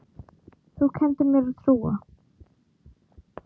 Þú kenndir mér að trúa.